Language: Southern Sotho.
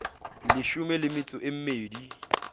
leshome le metso e mmedi